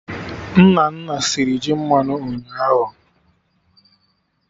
Nnanna sịrị ji mmanụ ụnyaahụ